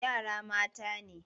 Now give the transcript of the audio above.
Yara mata ne.